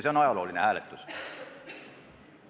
See on ajalooline hääletus.